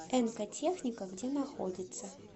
энка техника где находится